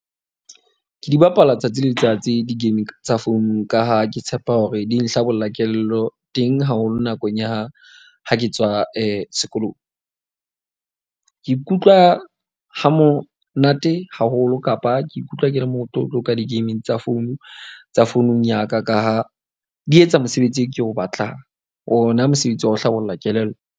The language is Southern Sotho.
Ke di bapala tsatsi le letsatsi di-game tsa founung, ka ha ke tshepa hore di nhlabolla kelello teng haholo nakong ya ha ke tswa sekolong. Ke ikutlwa ha monate haholo kapa ke ikutlwa ke le motlotlo ka di-game tsa phone tsa founung ya ka. Ka ha di etsa mosebetsi oo ke o batlang. Ona mosebetsi wa ho hlabolla kelello.